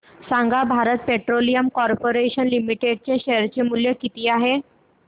सांगा Bharat Petroleum Corporation Limited चे share मूल्य किती आहे